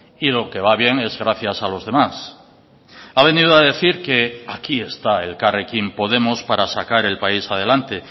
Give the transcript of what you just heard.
y lo que va bien es gracias a los demás ha venido a decir que aquí está elkarrekin podemos para sacar el país adelante